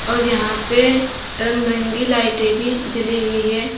और यहां पे रंग बिरंगे लाइटें जली हुई है।